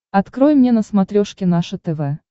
открой мне на смотрешке наше тв